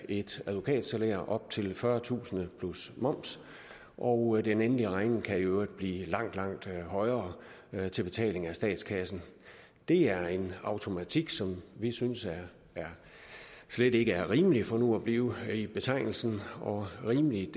et advokatsalær op til fyrretusind plus moms og den endelige regning kan i øvrigt blive langt langt højere til betaling af statskassen det er en automatik som vi synes slet ikke er rimelig for nu at blive i betegnelsen og rimeligt